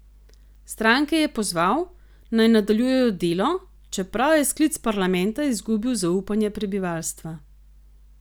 Stranke je pozval, naj nadaljujejo delo, čeprav je sklic parlamenta izgubil zaupanje prebivalstva.